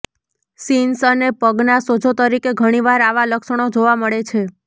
shins અને પગના સોજો તરીકે ઘણીવાર આવા લક્ષણો જોવા મળે છે